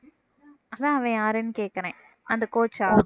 அதான் அவன் யாருன்னு கேக்குறேன் அந்த coach ஆ